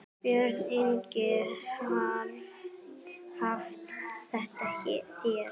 Björn Ingi: Haft eftir þér?